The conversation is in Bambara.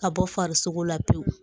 Ka bɔ farisogo la pewu